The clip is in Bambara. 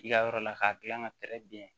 I ka yɔrɔ la k'a gilan ka pɛrɛ biɲɛ